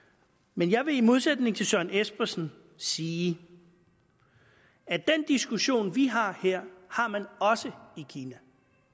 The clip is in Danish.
men jeg vil i modsætning til herre søren espersen sige at den diskussion vi har her har man også i kina